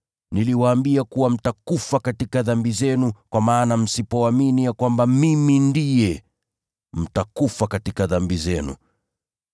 Niliwaambia kuwa mtakufa katika dhambi zenu, kwa maana msipoamini ya kwamba ‘Mimi Ndiye,’ mtakufa katika dhambi zenu.”